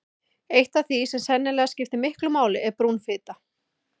Eitt af því sem sennilega skiptir miklu máli er brún fita.